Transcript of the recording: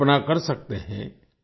आप कल्पना कर सकते हैं